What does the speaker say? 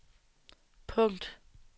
punkt